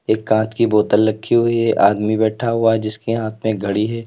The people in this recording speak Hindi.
एक कांच की बोतल रखी हुई है आदमी बैठा हुआ है जिसके हाथ में घड़ी है।